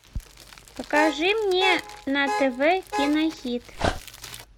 покажи мне на тв кинохит